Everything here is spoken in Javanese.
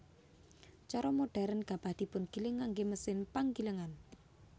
Cara modhèrn gabah dipungiling nganggé mesin panggilingan